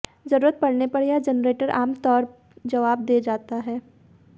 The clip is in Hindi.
जरूरत पड़ने पर यह जेनरेटर आमतौर जवाब दे जाता है